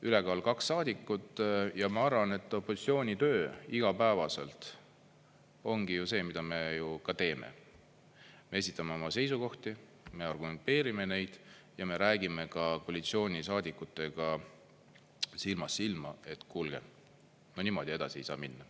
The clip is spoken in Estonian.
Ülekaal kaks saadikut ja ma arvan, et opositsiooni töö igapäevaselt ongi ju see, mida me ju ka teeme: me esitame oma seisukohti, me argumenteerime neid ja me räägime ka koalitsioonisaadikutega silmast silma, et kuulge, no niimoodi edasi ei saa minna.